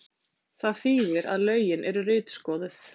Það þýðir að lögin eru ritskoðuð